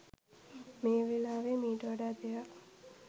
මේ වෙලාවේ මීට වඩා දෙයක්